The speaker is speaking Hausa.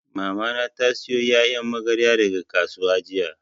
Mamana ta sayo ƴaƴan magarya daga kasuwa jiya